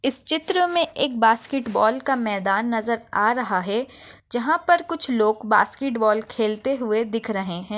इस चित्र मे एक बास्केटबॉल का मैदान नजर आ रहा है जहापर कुछ लोग बास्केटबॉल खेलते हुए दिख रहे है।